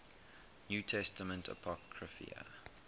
new testament apocrypha